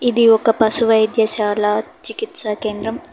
ఇది ఒక పశువైద్యశాల చికిత్స కేంద్రం.